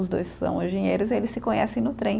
Os dois são engenheiros e eles se conhecem no trem.